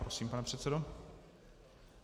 Prosím, pane předsedo.